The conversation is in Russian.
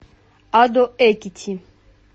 адо экити